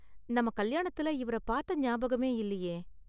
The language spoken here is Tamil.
நம்ம கல்யாணத்துல இவர பாத்த ஞாபகமே இல்லியே.